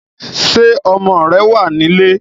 Ṣé ọmọ rẹ̀ wá nílé?